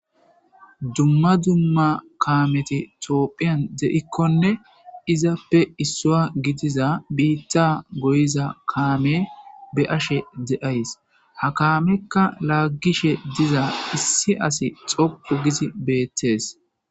Dumma dumma kaameti tioophphiyan de7ikkonne izappe issoa gidiza biitta goyiza kaame be ashe de7ays ha kaamekka laaggishe diza issi asi xoqu gizi beettees.